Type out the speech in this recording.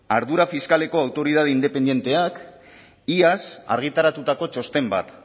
ardura fiskaleko autoridade independienteak iaz argitaratutako txosten bat